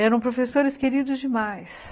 Eram professores queridos demais.